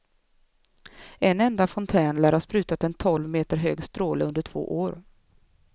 En enda fontän lär ha sprutat en tolv meter hög stråle under två år.